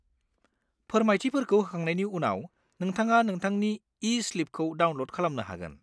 फोरमायथिफोरखौ होखांनायनि उनाव, नोंथाङा नोंथांनि ई-स्लिपखौ डाउनल'ड खालामनो हागोन।